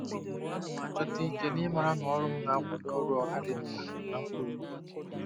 Ana m achọta ike n'ịmara na ọrụ m na-akwado ọrụ ọha dị mkpa na mkpa obodo.